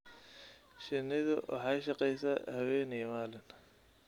Shinnidu waxay shaqaysaa habeen iyo maalin.